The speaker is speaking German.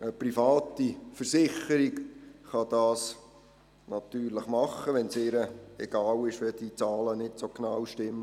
Eine private Versicherung kann dies natürlich tun, wenn es ihr egal ist, dass die Zahlen nicht so genau stimmen.